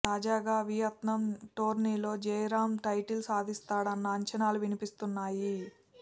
తాజాగా వియత్నాం టోర్నీలో జయరామ్ టైటిల్ సాధిస్తాడన్న అంచనాలు వినిపిస్తున్నాయి